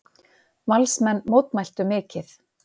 Valsmenn mótmæltu mikið.